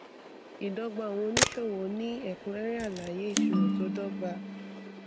ìdọgba àwọn oníṣòwò ní ẹkúnrẹrẹ alaye ìṣirò tó dọgba